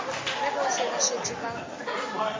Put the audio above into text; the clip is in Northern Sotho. ge bohle ba šetše ba